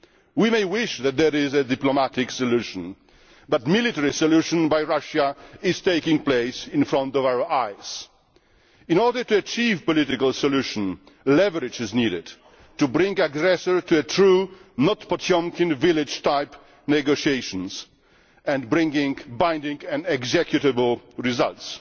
We may wish for there to be a diplomatic solution, but a military solution by Russia is taking place before our eyes. In order to achieve a political solution, leverage is needed to bring the aggressor to true not Potemkin village type negotiations and to bring binding and executable results.